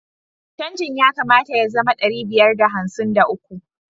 Canjin ya kamata ya zama ɗari biyar da hamsin da uku.